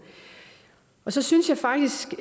så synes jeg faktisk